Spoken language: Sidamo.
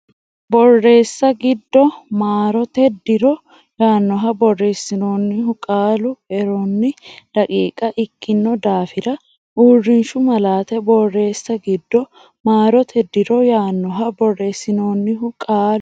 Borreessa giddo maarote diro yaannoha borreessinoonnihu qaalu eronni daqiiqa ikkino daafira uurrishshu malaate Borreessa giddo maarote diro yaannoha borreessinoonnihu qaalu.